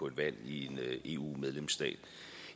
et valg i en eu medlemsstat